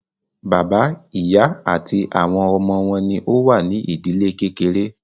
Bàbá, ìyá àti àwọn ọmọ wọn ní o wà ní ìdílé kékeré.